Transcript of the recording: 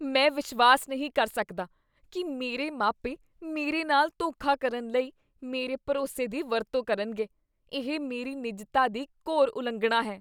ਮੈਂ ਵਿਸ਼ਵਾਸ ਨਹੀਂ ਕਰ ਸਕਦਾ ਕੀ ਮੇਰੇ ਮਾਪੇ ਮੇਰੇ ਨਾਲ ਧੋਖਾ ਕਰਨ ਲਈ ਮੇਰੇ ਭਰੋਸੇ ਦੀ ਵਰਤੋਂ ਕਰਨਗੇ। ਇਹ ਮੇਰੀ ਨਿੱਜਤਾ ਦੀ ਘੋਰ ਉਲੰਘਣਾ ਹੈ।